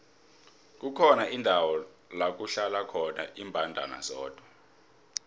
kukhona indawo lakuhlala khona imbandana zodwa